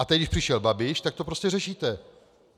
A teď, když přišel Babiš, tak to prostě řešíte.